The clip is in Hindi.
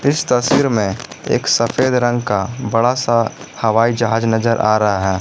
इस तस्वीर में एक सफेद रंग का बड़ा सा हवाई जहाज नजर आ रहा है।